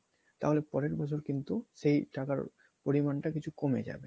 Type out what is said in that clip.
তাহলে পরের বছর কিন্তু সেই টাকার পরিমানটা কিছু কমে যাবে